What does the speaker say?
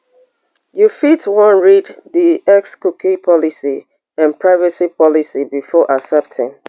you fit wan read di x cookie policy and privacy policy before accepting